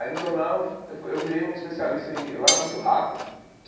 Aí no jornal eu fui eu virei um especialista em, eu era muito rápido.